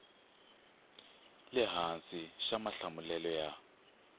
le hansi xa mahlamulelo ya